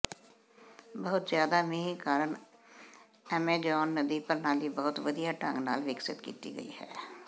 ਬਹੁਤ ਜ਼ਿਆਦਾ ਮੀਂਹ ਕਾਰਨ ਅਮੇਜ਼ੋਨ ਨਦੀ ਪ੍ਰਣਾਲੀ ਬਹੁਤ ਵਧੀਆ ਢੰਗ ਨਾਲ ਵਿਕਸਤ ਕੀਤੀ ਗਈ ਹੈ